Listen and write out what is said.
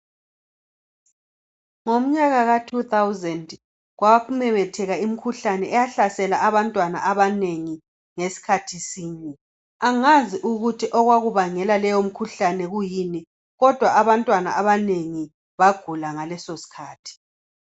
Ngomnyaka ka 2000 kwamemetheka imikhuhlane eyahlasela abantwana abanengi ngesikhathi sinye. Angazi ukuthi okwakubangela leyo mikhuhlane kuyini kodwa abantwana abanengi bagula ngaleso sikhathi.